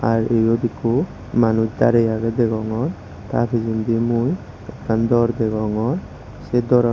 r ibot ekko manuj darey aage degongor ta pijendi mui ekkan door degongor se door an.